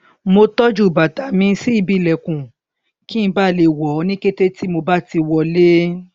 mo tọjú bàtà mi sí ibi ìlẹkùn kí n bà le wọ ọ ní kété tí mo bá ti wọlé